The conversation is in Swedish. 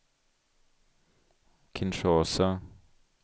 Kinshasa